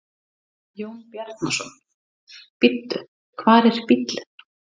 Jón Bjarnason: Bíddu, hvar er bíllinn?